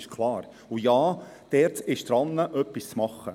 Und ja, die ERZ ist dabei, etwas zu tun.